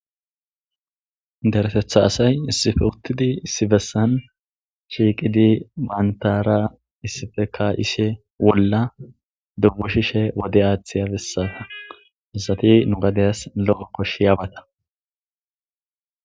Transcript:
daretetha asay issife utidi issibessan shiiqidi bantara issifeka ishe wolla dubbu shishe wode aaththi yabessaa misati nu gadeyas lo7o koshshi yaabata